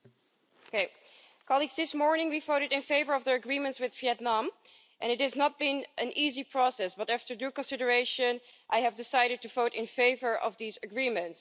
Madam President, this morning we voted in favour of the agreements with Vietnam and it has not been an easy process, but after due consideration, I have decided to vote in favour of these agreements.